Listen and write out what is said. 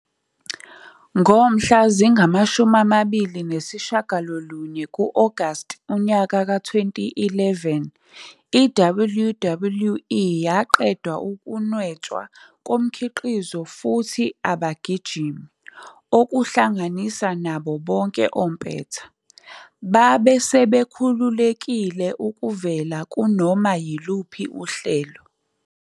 Ngomhla zingama-29 ku-Agasti 2011, i-WWE yaqeda ukunwetshwa komkhiqizo futhi abagijimi, okuhlanganisa nabo bonke ompetha, babe sebekhululekile ukuvela kunoma yiluphi uhlelo.